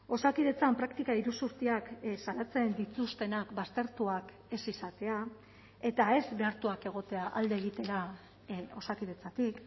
osakidetzan praktika iruzurtiak salatzen dituztenak baztertuak ez izatea eta ez behartuak egotea alde egitera osakidetzatik